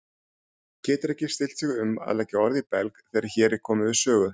Getur ekki stillt sig um að leggja orð í belg þegar hér er komið sögu.